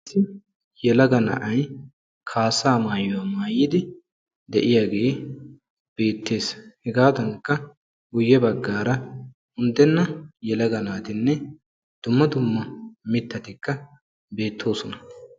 Yelaga na'ay kaassa maayuwa mayidaage beetes. Hegaadankka guye bagan daro mittati beetosonna.